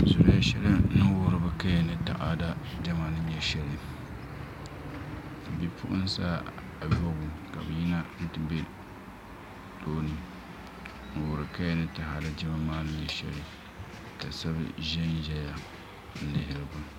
Zuliya shɛli n wuhuri bi kaya ni taada ni nyɛ shɛli ka bipuɣunsi ayobu ka bi yina ti bɛ tooni n wori kaya ni taada Diɛma maa ni nyɛ shɛli ka shab ʒɛnʒɛya n lihiriba